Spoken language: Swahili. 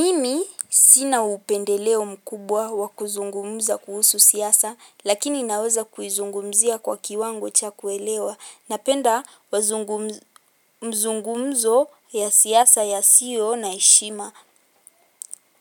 Mimi sina upendeleo mkubwa wakuzungumza kuhusu siyasa lakini naweza kuizungumuzia kwa kiwango cha kuelewa napenda mazungumuzo ya siyasa ya sio na heshima